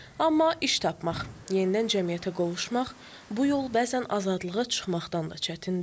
Amma iş tapmaq, yenidən cəmiyyətə qovuşmaq bu yol bəzən azadlığa çıxmaqdan da çətindir.